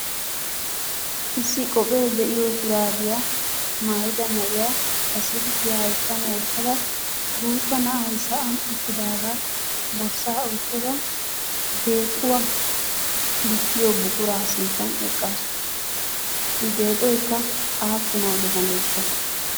Issi qophphee de"iyo shuraabiyaa maayida na"iyaa ba silkiya hayttan wottada guutta na'ay sa"an uttidaagaa borssaa oyttada deexuwa likkiyo buquraa sinttan eqqaasu. I deexxoykka aappuna gidaneeshsha?